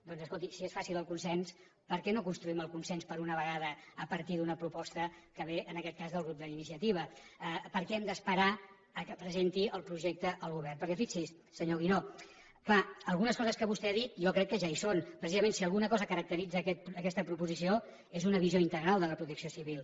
doncs escolti si és fàcil el consens per què no construïm el consens per una vegada a partir d’una proposta que ve en aquest cas del grup d’iniciativa per què hem d’esperar que presenti el projecte el govern per què fixi s’hi senyor guinó clar algunes coses que vostè ha dit jo crec que ja hi són precisament si alguna cosa caracteritza aquesta proposició és una visió integral de la protecció civil